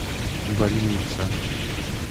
больница